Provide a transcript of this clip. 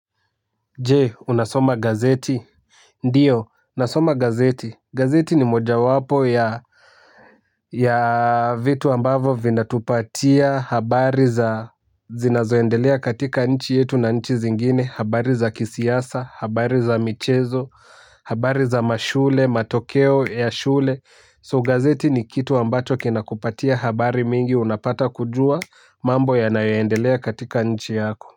Je, unasoma gazeti? Ndiyo nasoma gazeti gazeti ni mojawapo ya vitu ambavyo vinatupatia habari za zinazoendelea katika nchi yetu na nchi zingine, habari za kisiasa, habari za michezo. Habari za mashule, matokeo ya shule, so gazeti ni kitu ambacho kinakupatia habari mingi unapata kujua mambo yanayoendelea katika nchi yako.